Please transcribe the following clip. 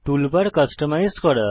toolbar customise করা